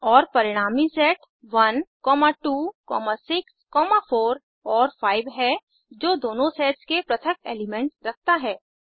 और परिणामी सेट 1 2 6 4 और 5 है जो दोनों सेट्स में पृथक एलीमेंट रखता है